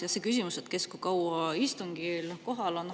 Ja see küsimus, kes kui kaua istungil kohal on.